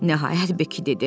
Nəhayət Bekki dedi: